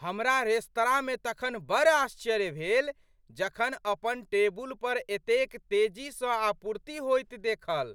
हमरा रेस्तराँमे तखन बड़ आश्चर्य भेल जखन अपन टेबुलपर एतेक तेजीसँ आपूर्ति होइत देखल,